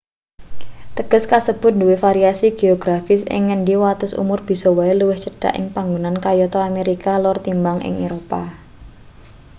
teges kasebut duwe variasi geografis ing ngendi wates umur bisa wae luwih cendhak ing panggonan kayata amerika lor tinimbang ing eropa